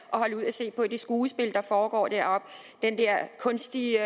se på det skuespil der foregår deroppe den der kunstige